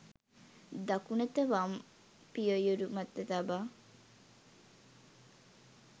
දකුණත වම් පියයුර මත තබා